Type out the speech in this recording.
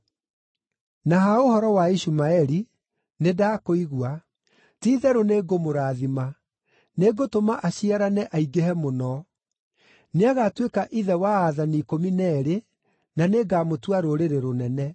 Na ha ũhoro wa Ishumaeli, nĩndakũigua: Ti-itherũ nĩngũmũrathima; nĩngũtũma aciarane, aingĩhe mũno. Nĩagatuĩka ithe wa aathani ikũmi na eerĩ, na nĩngamũtua rũrĩrĩ rũnene.